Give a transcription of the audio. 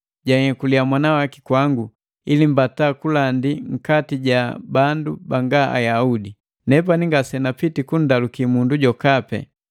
janhyekuliya mwana waki kwangu, ili mbata kundandi nkati ja bandu banga Ayaudi. Nepani ngasenapiti kundaluki mundu jokapi.